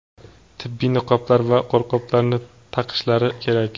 tibbiy niqoblar va qo‘lqoplarni taqishlari kerak.